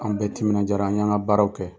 An bɛɛ timinajara an yan ka baaraw kɛ.